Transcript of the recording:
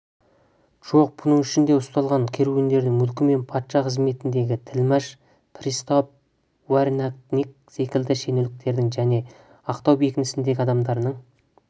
жоқ бұның ішінде ұсталған керуендердің мүлкі мен патша қызметіндегі тілмәш пристав урядник секілді шенеуніктердің және ақтау бекінісіндегі адамдарының